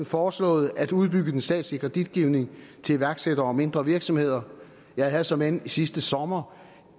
foreslået at udbygge den statslige kreditgivning til iværksættere og mindre virksomheder jeg havde såmænd sidste sommer